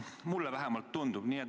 Mulle vähemalt tundub.